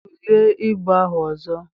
Tulee ibu ahụ ọzọ.